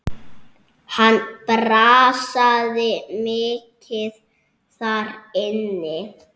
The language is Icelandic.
Hann brasaði mikið þar inni.